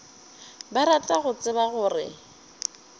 ba rata go tseba gore